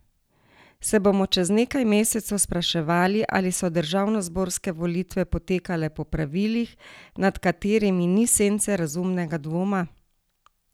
Se bomo čez nekaj mesecev spraševali, ali so državnozborske volitve potekale po pravilih, nad katerimi ni sence razumnega dvoma?